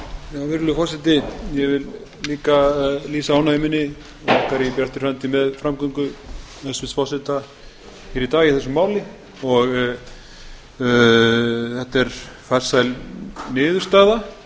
virðulegur forseti ég vil líka lýsa ánægju minni og okkar í bjartri framtíð með framgöngu hæstvirts forseta hér í dag í þessu máli þetta er farsæl niðurstaða